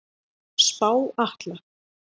Spá Atla